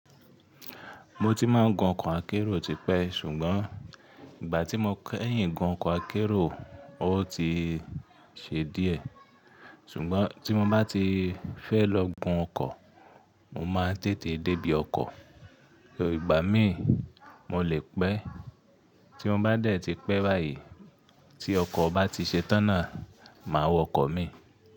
Mo ti máa n gun ọkọ̀ akérò tipẹ́, ṣùgbọ́n ìgbà tí mo kẹ́yìn gun ọkọ̀ akérò, ó ti ṣe díẹ̀. Ṣùgbọ́n tí mo bá ti fẹ́ lọ gun ọkọ̀, mo máa tètè débí ọkọ̀. Ìgbà míì mo lè pẹ́. Tí mo bá dẹ̀ ti pẹ́ báyìí tí ọkọ̀ bá ti ṣetáná, màá wọ ọkọ̀ mi.